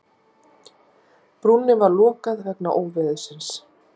Brúnni var lokað vegna óveðursins